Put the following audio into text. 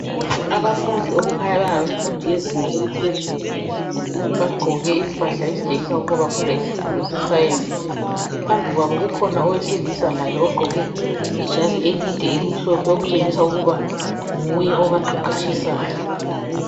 Abafundi okukhanya kungabafundi bezinga eliphezulu bagqoke impahla ezitshengisa ukuba bafunda isifundo sescience phambi kwabo kukhona owesilisa laye ugqoke ijazi elide elimhlophe okutshengisa ukuba nguye otshisayo.